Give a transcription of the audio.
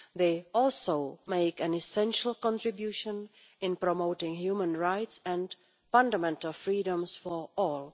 They also make an essential contribution in promoting human rights and fundamental freedoms for all.